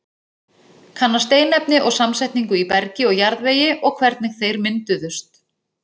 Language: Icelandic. Kanna steinefni og samsetningu í bergi og jarðvegi og hvernig þeir mynduðust.